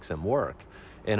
sem vorum einu